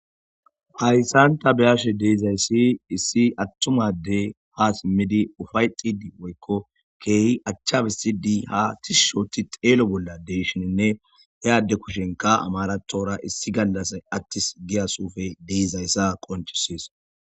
Hayssanta beyashe deezayssi issi attumade ha simmidi ufay xidi woykko keehi achchabisi di ha tishushoti xeelo bolla deeshininne he adde kushenka amaratora issi gallasay attis giya suufe deezayssa qonchisees